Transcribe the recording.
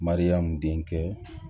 Mariyamu denkɛ